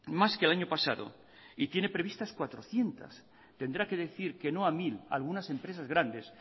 más que el año pasado y tiene previstas cuatrocientos tendrá que decir que no a mil a algunas empresas grandes